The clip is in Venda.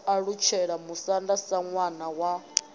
alutshela musanda sa ṋwana wa